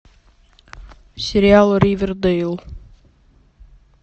сериал ривердейл